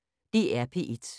DR P1